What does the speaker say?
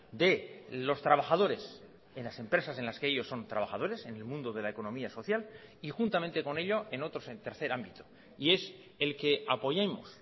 de los trabajadores en las empresas en las que ellos son trabajadores en el mundo de la economía social y juntamente con ello en otros en tercer ámbito y es el que apoyemos